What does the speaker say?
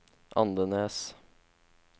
Andenes